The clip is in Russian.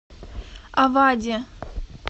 авади